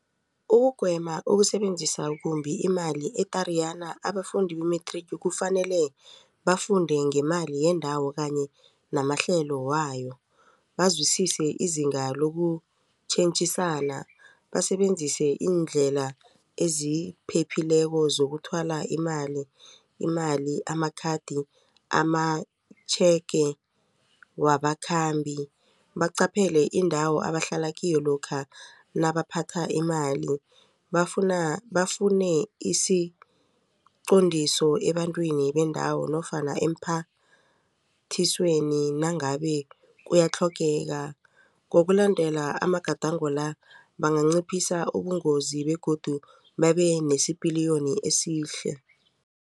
Ukugwema ukusebenzisa kumbi imali e-Tariyana abafundi be-matric kufanele bafunde ngemali yendawo kanye namahlelo wayo bazwisise izinga lokutjhentjhisana basebenzise iindlela eziphephileko zokuthwala imali amakhathi, amatjhege wabakhambi. Baqaphele indawo abahlala kiyo lokha nabaphatha imali. Bafune isiqondiso ebantwini bendawo nofana emphathisweni nangabe kuyatlhogeka. Ngokulandela amagadango la banganciphisa ubungozi begodu babe nesipiliyoni esihle.